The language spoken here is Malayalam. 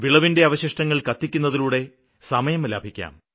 വിളവിന്റെ അവശിഷ്ടങ്ങള് കത്തിക്കുന്നതിലൂടെ സമയം ലാഭിക്കാം